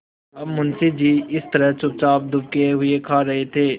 अब मुंशी जी इस तरह चुपचाप दुबके हुए खा रहे थे